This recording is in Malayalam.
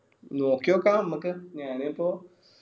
നോക്കിയൊക്ക അമ്മക്ക് ഞാന് ഇപ്പോ